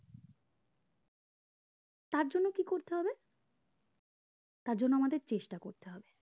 তার জন্য কি করতে হবে তারজন্য আমাদের চেষ্টা করতে হবে